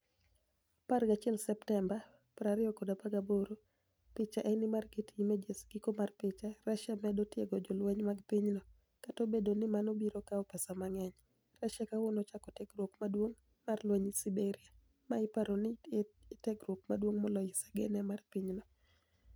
11 Septemba, 2018 Picha eni mar Getty Images Giko mar picha, Russia medo tiego jolweniy mag piniygi - kata obedo nii mano biro kawo pesa manig'eniy - Russia kawuono ochako tiegruok maduonig' mar lweniy siberia, ma iparo nii eni tiegruok maduonig'ie moloyo esigania mar piny no.